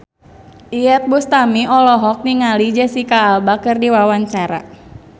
Iyeth Bustami olohok ningali Jesicca Alba keur diwawancara